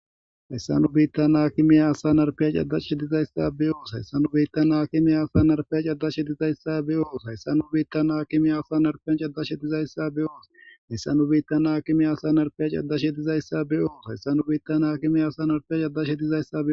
hayssanu biittan haakimey asa narfiya caddashe dizayssa beyoos hayssanu biittan haakime asa narfaya caddashe dizayssa beyoos hayssanu biittan haakime asa narfiyan caddashe dizayssa be oos hayssanu biittan haakime asa narfiya caddashe dizayssa beyoos hayssanu biittan haakime asa narfiya cadashe dizayssa